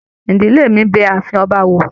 Ìdílé mí bẹ ààfin ọba wò.